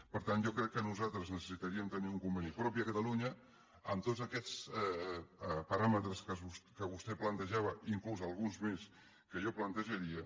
per tant jo crec que nosaltres necessitaríem tenir un conveni propi a catalunya amb tots aquests paràmetres que vostè plantejava inclús alguns més que jo plantejaria